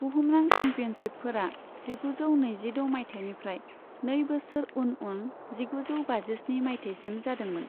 बुहुमनां चेम्पियनशिपफोरा जिगुजौ नैजिद' मायथाइनिफ्राय नै बोसोर उन उन जिगुजौ बाजिस्नि मायथाइसिम जादोंमोन।